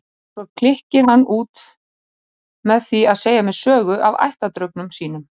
Svo klykkir hann út með því að segja mér sögu af ættardraugnum sínum.